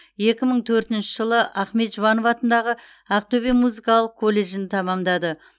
екі мың төртінші жылы ахмет жұбанов атындағы ақтөбе музыкалық колледжін тәмамдады